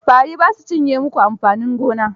Fari ba su cinye mu ku amfanin gona ba?